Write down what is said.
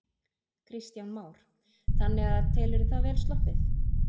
Kristján Már: Þannig að telurðu það vel sloppið?